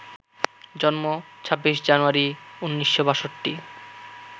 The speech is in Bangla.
জন্ম ২৬ জানুয়ারি ১৯৬২